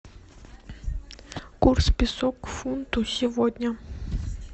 курс песо к фунту сегодня